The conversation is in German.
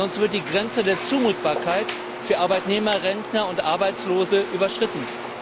Sonst wird die Grenze der Zumutbarkeit für Arbeitnehmer, Rentner und Arbeitslose überschritten.